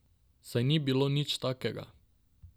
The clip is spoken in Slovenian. Saj ni bilo nič takega.